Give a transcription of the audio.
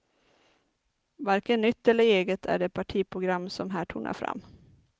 Varken nytt eller eget är det partiprogram som här tonar fram.